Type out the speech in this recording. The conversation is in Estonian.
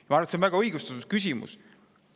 Ma arvan, et see on väga õigustatud küsimus.